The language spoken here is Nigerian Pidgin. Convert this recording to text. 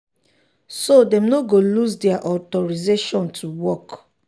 so dem no go lose dia authorization to work.